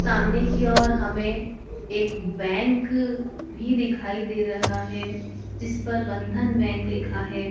सामने की ओर हमें एक बैंक भी दिखाई दे रहा है जिस पर बंधन बैंक लिखा है।